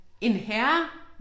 En herre?!